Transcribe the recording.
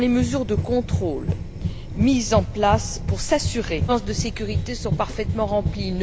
Quelles sont les mesures de contrôle mises en place pour s'assurer que les exigences de sécurité sont parfaitement remplies?